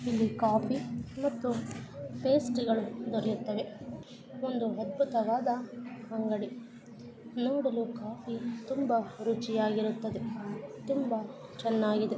ಇಲ್ಲಿ ಕಾಫಿ ಮತ್ತು ಪೇಸ್ಟ್ರಿಗಳು ದೊರೆಯುತ್ತವೆ ಒಂದು ಅದ್ಭುತವಾದ ಅಂಗಡಿ ನೋಡಲು ಕಾಫಿ ತುಂಬಾ ರುಚಿಯಾಗಿರುತ್ತದೆ ತುಂಬಾ ಚೆನ್ನಾಗಿದೆ.